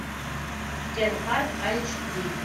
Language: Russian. кен парк айч ди